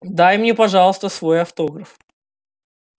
дай мне пожалуйста свой автограф